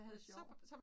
Hvor sjovt